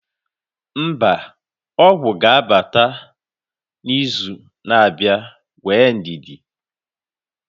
mba, ọgwụ ga-abata n'izu na-abịa, nwee ndidi